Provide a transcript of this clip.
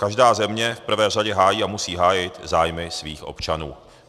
Každá země v prvé řadě hájí a musí hájit zájmy svých občanů.